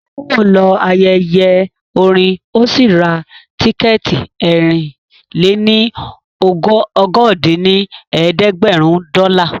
Táíwò lọ ayẹyẹ orin ó sì ra tíkẹ̀ẹ̀tì ẹ̀rin-lé-ní-okòó dín ní ẹ̀ẹ́dẹ́gbẹ́rún dọ́là